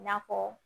I n'a fɔ